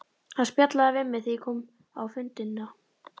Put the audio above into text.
Hann spjallaði við mig þegar ég kom á fundina.